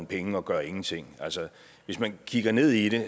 penge og gør ingenting hvis man kigger ned i det